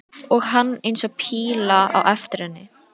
Og hann eins og píla á eftir henni.